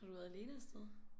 Har du været alene afsted?